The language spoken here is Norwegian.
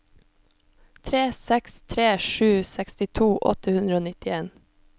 tre seks tre sju sekstito åtte hundre og nittien